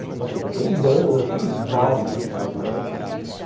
É, porque... Nossa, eu toquei em bandas, assim, de vários estilos, né?